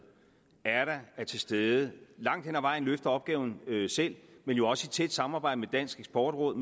er der er til stede og langt hen ad vejen løfter opgaven selv men jo også i tæt samarbejde med dansk eksportråd